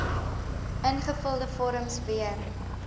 ingevulde vorms weer